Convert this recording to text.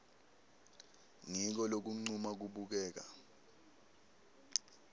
ngiko lokuncuma kubukeka